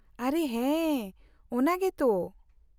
-ᱟᱨᱮ ᱦᱮᱸ, ᱚᱱᱟ ᱜᱮ ᱛᱚ !